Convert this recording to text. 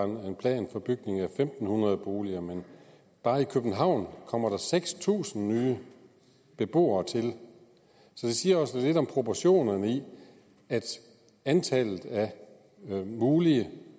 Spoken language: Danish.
var en plan for bygning af fem hundrede boliger men bare i københavn kommer der seks tusind nye beboere til så det siger også lidt om proportionerne i at antallet af mulige